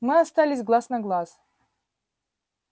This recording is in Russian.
мы остались глаз на глаз